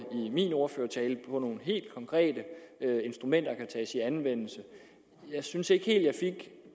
i min ordførertale for nogle helt konkrete instrumenter der kan tages i anvendelse jeg synes ikke helt at